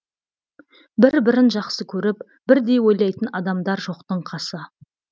бір бірін жақсы көріп бірдей ойлайтын адамдар жоқтың қасы